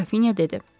Qrafinya dedi.